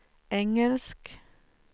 engelsk